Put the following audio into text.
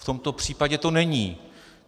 V tomto případě to není.